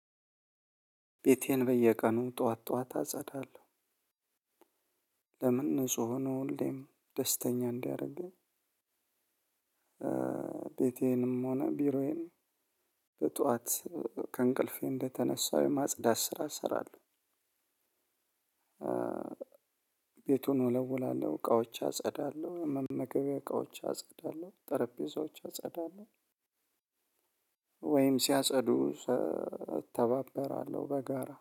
ቤቴን በየቀኑ ጥዋት ጥዋት አጸዳለው ለምን ንጹህ ነው ሁሌም ደስተኛ እንዲያረገኝ። ቤቴንም ሆነ ቢሮዬን በጥዋት ከእንቅልፌ እንደተነሳው የማጽዳት ስራ እሰራለው። ቤቱን እወለውላለው እቃዎች አጸዳለው መመገበያ እቃዎች አጸዳለው ጠረጰዛዎች አጸዳለው። ወይም ሲያጸዱ እተባበራለው በጋራ